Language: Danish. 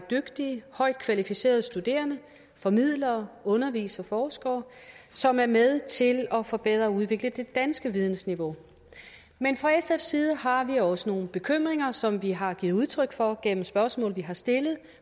dygtige højt kvalificerede studerende formidlere undervisere forskere som er med til at forbedre og udvikle det danske vidensniveau men fra sfs side har vi også nogle bekymringer som vi har givet udtryk for gennem spørgsmål vi har stillet